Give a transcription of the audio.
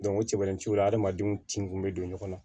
o cɛ bɛrɛ t'u la hadamadenw tin kun bɛ don ɲɔgɔn na